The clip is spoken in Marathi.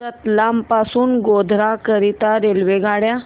रतलाम पासून गोध्रा करीता रेल्वेगाड्या